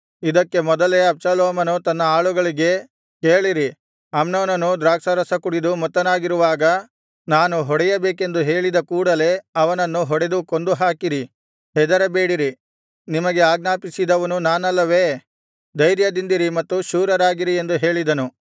ಇದಕ್ಕೆ ಮೊದಲೇ ಅಬ್ಷಾಲೋಮನು ತನ್ನ ಆಳುಗಳಿಗೆ ಕೇಳಿರಿ ಅಮ್ನೋನನು ದ್ರಾಕ್ಷಾರಸ ಕುಡಿದು ಮತ್ತನಾಗಿರುವಾಗ ನಾನು ಹೊಡೆಯಬೇಕೆಂದು ಹೇಳಿದ ಕೂಡಲೆ ಅವನನ್ನು ಹೊಡೆದು ಕೊಂದುಹಾಕಿರಿ ಹೆದರಬೇಡಿರಿ ನಿಮಗೆ ಆಜ್ಞಾಪಿಸಿದವನು ನಾನಲ್ಲವೇ ಧೈರ್ಯದಿಂದಿರಿ ಮತ್ತು ಶೂರರಾಗಿರಿ ಎಂದು ಹೇಳಿದನು